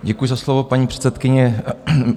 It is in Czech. Děkuji za slovo, paní předsedkyně.